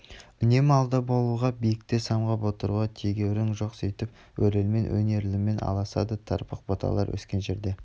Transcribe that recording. үнемі алда болуға биікте самғап отыруға тегеурін жоқ сөйтіп өрелмен өнерлімен алысады тырбық бұталар өскен жерде